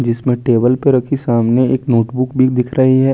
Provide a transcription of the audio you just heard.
जिसमे टेबल पर रखी सामने एक नोटबुक भी दिख रही है।